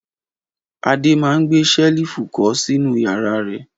Adé máa gbé ṣẹ́lífù kọ́ sínú ìyàrá rẹ̀!